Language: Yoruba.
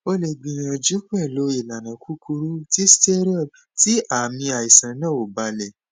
o le gbiyanju pelu ilana kukuru ti steroid ti aami aisan na o ba le